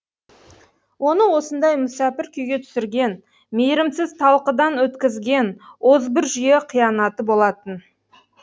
оны осындай мүсәпір күйге түсірген мейірімсіз талқыдан өткізген озбыр жүйе қиянаты болатын